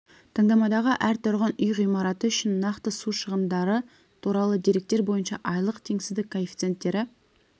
таңдамадағы әр тұрғын үй ғимараты үшін нақты су шығындары туралы деректер бойынша айлық теңсіздік коэффициенттері